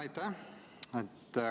Aitäh!